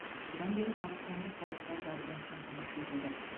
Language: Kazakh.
содан бері батыс өңірі толықтай газбен қамтамасыз етілді